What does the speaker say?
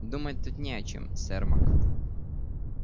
думать тут не о чем сермак